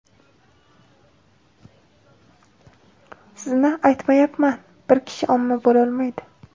Sizni aytmayapman, bir kishi omma bo‘lolmaydi.